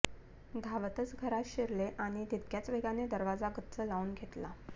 धावतच घरात शिरले आणि तितक्याच वेगाने दरवाजा गच्च लावून घेतला